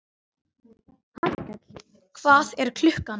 Hallkell, hvað er klukkan?